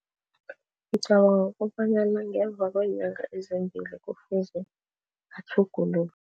Ngicabanga kobanyana ngemva kweenyanga ezimbili kufuze atjhugululwe.